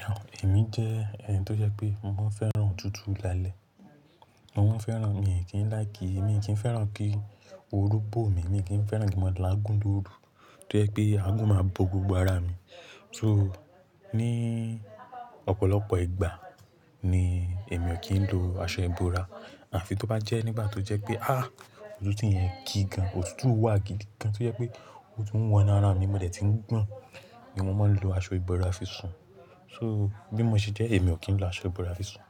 Rárá, èmi jẹ́ ẹni tó jẹ pé mò maa ń fẹ́ràn òtútù lálẹ́. Mo ń fẹ́ràn, mi ò kí ń láì kí, mi kì í fẹ́ràn kí òru bọ̀ mí, mi kí ń fẹ́ràn kí maa la àgún lóru tó jẹ pé àgún máa bo gbogbo ara mi. So ní ọ̀pọ̀lọpọ̀ ìgbà ni èmi ò kí ń lo aṣọ ìbora. Àfi tó bá jẹ́ nígbà tó jẹ́ pé, ah! Òtútù yẹn gigan, òtútù wà gidi gan tó jẹ pé ó tún wọn nu ara mi, mo dẹ̀ ti ń gbọ̀n ni mò maa ń lo aṣọ ìbora fi sùn. So bí mo ṣe jẹ́ èmi ò kí ń lo aṣọ ìbora fi sùn.